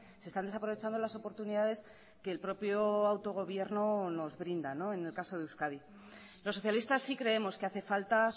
se están desaprovechando las oportunidades que el propio autogobierno nos brinda en el caso de euskadi los socialistas sí creemos que hace falta